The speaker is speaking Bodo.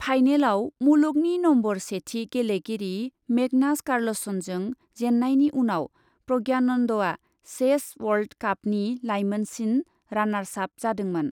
फाइनेलआव मुलुगनि नम्बर सेथि गेलेगिरि मेगनास कार्लसनजों जेननायनि उनाव प्रज्ञानन्दआ चेस वर्ल्ड कापनि लाइमोनसिन रानार्सआप जादोंमोन।